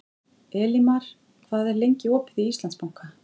Elímar, hvað er lengi opið í Íslandsbanka?